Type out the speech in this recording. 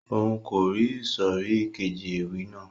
Òun kò rí ìsòrí keji ewì náà